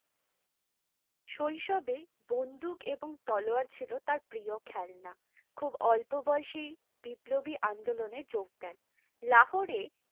শৈশবে বন্দুক এবং তলোয়ার ছিলো তার প্রিয় খেলনা, খুব অল্প বেশি বিপ্লবী আন্দোলনে যোগ দেন। লাহরে